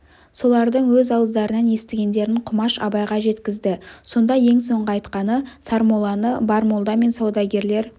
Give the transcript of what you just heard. солардың өз ауыздарынан естігендерін құмаш абайға жеткізді сонда ең соңғы айтқаны сармолланы бар молда мен саудагерлер